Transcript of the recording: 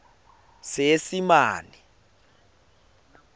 seesimane